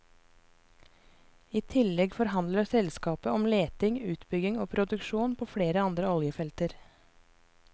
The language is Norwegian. I tillegg forhandler selskapet om leting, utbygging og produksjon på flere andre oljefelter.